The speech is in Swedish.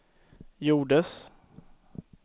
gjordes